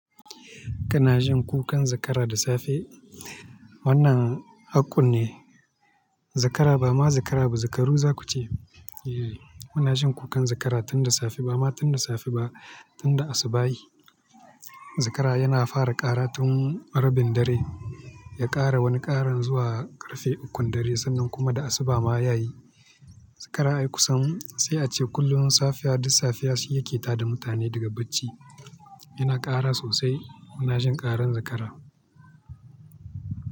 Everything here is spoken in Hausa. Kana jin kukan zakara da safe? Wannan hakko ne. Zakara ba ma zakara ba, zakaru za kuce. Muna jin kukan zakara tun da safe, ba ma tun da safe ba, tun da asubahi. Zakara yana fara ƙara tun rabin dare, ya ƙara wani ƙara zuwa ƙarfe ukun dare, sannan kuma da asuba maya yi. Zakara ai kusan sai a ce kullum safiya duk safiya shi yake ta da mutane daga bacci. Yana ƙara sosai. Muna jin ƙaran zakara.